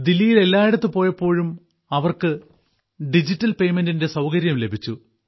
ദില്ലിയിൽ എല്ലായിടത്തു പോയപ്പോഴും അവർക്കു ഡിജിറ്റൽ പേയ്മെന്റിന്റെ സൌകര്യം ലഭിച്ചു